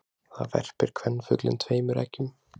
Þar verpir kvenfuglinn tveimur eggjum.